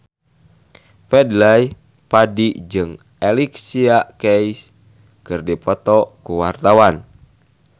Fadly Padi jeung Alicia Keys keur dipoto ku wartawan